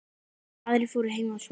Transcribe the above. Aðrir fóru heim að sofa.